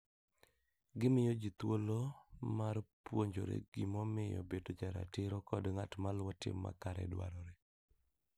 Gimiyo ji thuolo mar puonjore gimomiyo bedo joratiro kod ng'at ma luwo tim makare dwarore.